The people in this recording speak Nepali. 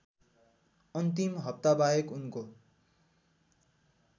अन्तिम हप्ताबाहेक उनको